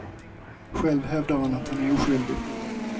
Själv hävdar han att han är oskyldig.